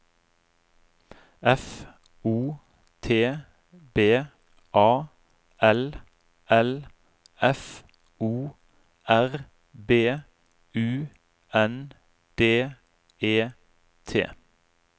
F O T B A L L F O R B U N D E T